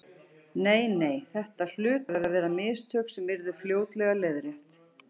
Nei, nei, þetta hlutu að vera mistök sem yrðu fljótlega leiðrétt.